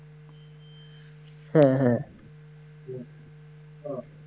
হ্যাঁ হ্যাঁ